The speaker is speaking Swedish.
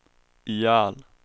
ihjäl